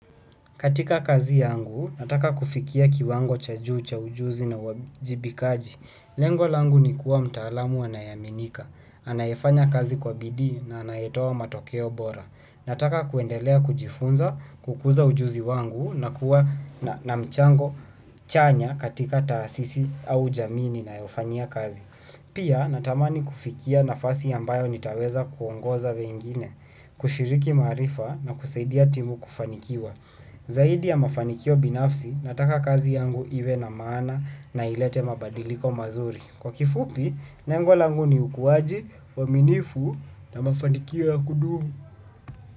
Katika kazi yangu, nataka kufikia kiwango cha juu cha ujuzi na uajibikaji. Lengo langu ni kuwa mtaalamu anayeaminika. Anayefanya kazi kwa bidii na anayetoa matokeo bora. Nataka kuendelea kujifunza, kukuza ujuzi wangu na kuwa na mchango chanya katika taasisi au jamii ninayofanyia kazi. Pia natamani kufikia nafasi ambayo nitaweza kuongoza wengine, kushiriki maarifa na kusaidia timu kufanikiwa. Zaidi ya mafanikio binafsi, nataka kazi yangu iwe na maana na ilete mabadiliko mazuri. Kwa kifupi, lengo langu ni ukuaji, uaminifu na mafanikio ya kudumu.